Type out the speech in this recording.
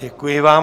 Děkuji vám.